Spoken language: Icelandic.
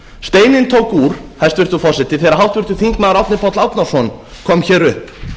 steininn tók úr hæstvirtur forseti þegar háttvirtur þingmaður árni páll árnason kom hér upp